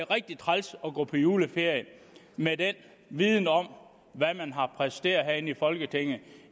rigtig træls at gå på juleferie med den viden om hvad man har præsteret her i folketinget